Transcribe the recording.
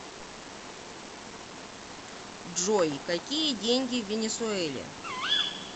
джой какие деньги в венесуэле